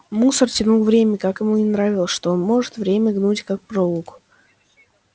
мусор тянул время как ему нравилось что он может время гнуть как проволоку